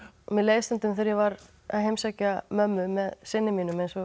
mér leið stundum þegar ég var að heimsækja mömmu með syni mínum eins og